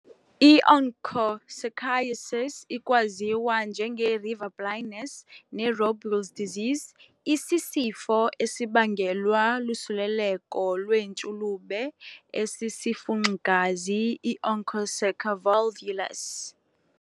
I-Onchocerciasis, ikwaziwa njenge-river blindness ne-Robles disease, isisifo esibangelwa lusuleleko lwentshulube esisifunxi-gazi i-"Onchocerca volvulus".